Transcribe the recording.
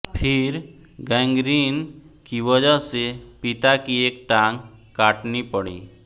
फिर गैंगरीन की वजह से पिता की एक टांग काटनी पड़ी